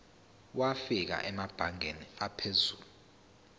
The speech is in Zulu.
wafika emabangeni aphezulu